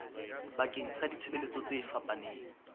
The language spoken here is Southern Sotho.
bakeng sa ditshebeletso tse fapaneng